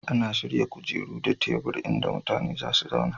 Ana shirya kujeru da tebur inda mutane za su zauna